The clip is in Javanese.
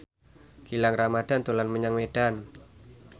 Gilang Ramadan dolan menyang Medan